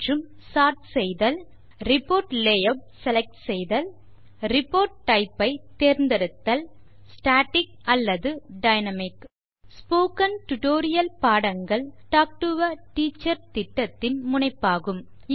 மற்றும் report type ஐ தேர்ந்தெடுத்தல்160 ஸ்டாட்டிக் அல்லது டைனாமிக் ஸ்போகன் டுடோரியல் பாடங்கள் டாக் டு எ டீச்சர் திட்டத்தின் முனைப்பாகும்